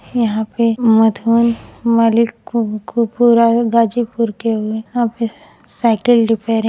यहां पे मधुबन मलिकपुर गाजीपुर के यहां पर साइकिल रिपेयरिंग --